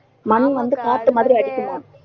மண் வந்து காத்து மாதிரி அடிக்குமாம்